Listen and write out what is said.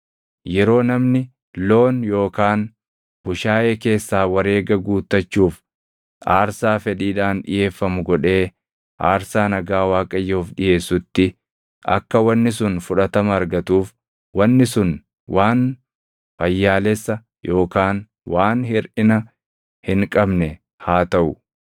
Yeroo namni loon yookaan bushaayee keessaa wareega guuttachuuf aarsaa fedhiidhaan dhiʼeeffamu godhee aarsaa nagaa Waaqayyoof dhiʼeessutti akka wanni sun fudhatama argatuuf wanni sun waan fayyaalessa yookaan waan hirʼina hin qabne haa taʼu.